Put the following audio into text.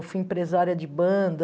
Eu fui empresária de banda.